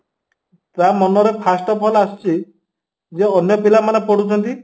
ତା ମନରେ first of all ଆସିଛି ଯେ ଅନ୍ୟ ପିଲାମାନେ ପଢୁଛନ୍ତି